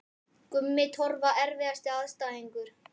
Gummi Torfa Erfiðasti andstæðingur?